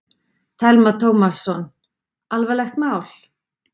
Telma Tómasson: Alvarlegt mál?